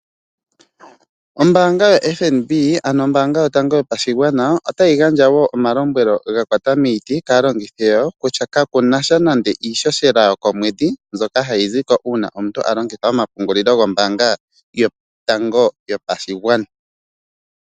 Ombanga yoNFB otayi gandja omalombwelo ga kwata miiti kaalongitho yawo kutya kaku na sha nando iishoshela yokomwedhi nzoka hayi ziko uuna omuntu a longitha omapungulilo gombanga yotango yopashigwana.